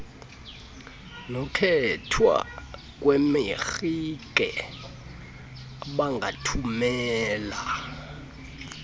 nokkhethwa kweemarike abangathumela